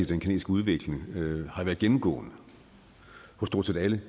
den kinesiske udvikling har været gennemgående hos stort set alle